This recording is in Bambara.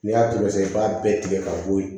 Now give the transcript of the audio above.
N'i y'a turusɛ i b'a bɛɛ tigɛ ka bɔ yen